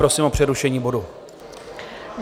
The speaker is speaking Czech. Prosím o přerušení bodu.